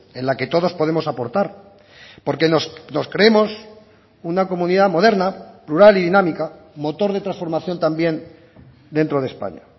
en la que todos podemos aportar porque nos creemos una comunidad moderna plural y dinámica motor de transformación también dentro de españa